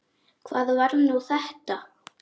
Hvað var nú þetta?